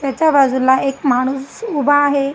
त्याच्या बाजूला एक माणूस उभा आहे.